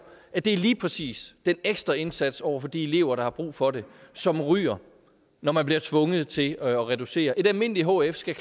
det er lige præcis den ekstra indsats over for de elever der har brug for det som ryger når man bliver tvunget til at reducere et almindeligt hf skal